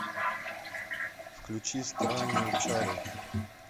включи странные чары